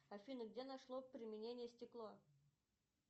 афина где нашло применение стекло